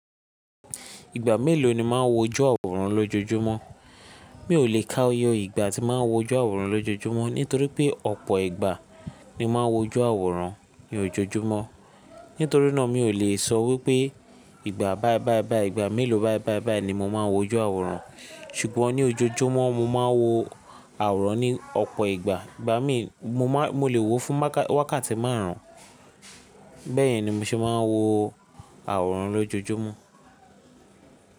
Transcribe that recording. Ìgbà mélòó ni máa n wo jú àwòrán lójojúmọ́? Mi ò lè ka oye ìgbà tí máa ń wo jú àwòrán lójojúmọ́ nítorí pé ọ̀pọ̀ ìgbà ni mo máa n wo jú àwòrán ní ojoojúmọ́. Nítorí náà mi ò lè sọ wípé ìgbà báì báì báì ìgbà mélòó báì báì báì ni mo máa n wo jú àwòrán. Ṣùgbọ́n ní ojoojúmọ́ mo máa n wo àwòrán ní ọ̀pọ̀ ìgbà. Ìgbà míì mo ma mo lè wo fún wákàtí márùn. Bẹ́ẹ̀yẹn ni mo ṣe máa n wo àwòrán lójojúmọ́.